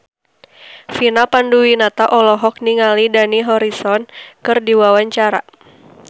Vina Panduwinata olohok ningali Dani Harrison keur diwawancara